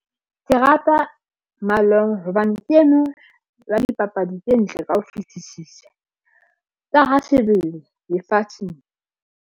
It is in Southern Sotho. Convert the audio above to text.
Ke rata hobane ke ena ya dipapadi tse ntle ka ho fitisisa ka ha lefatsheng.